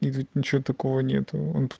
ничего такого нету